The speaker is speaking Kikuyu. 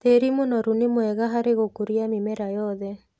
Tĩri mũnoru ni mwega harĩ gũkũria mĩmera yothe.